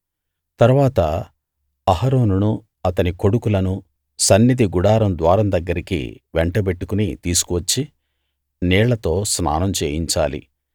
తరువాత అహరోనును అతని కొడుకులను సన్నిధి గుడారం ద్వారం దగ్గరికి వెంటబెట్టుకుని తీసుకువచ్చి నీళ్లతో స్నానం చేయించాలి